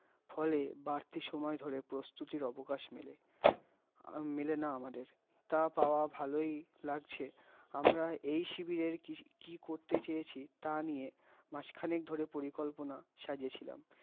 ফলে বাড়তি সময় ধরে প্রস্তুতির অবকাশ মেলে, অ-মেলেনা আমাদের, তা পাওয়া ভালই লাগছে, আমরা এই সিবিয়ের কি কি করেত চেয়েছি, তা নিয়ে মাস ক্ষণিক ধরে পরিকল্পনা সাজিয়ে ছিলাম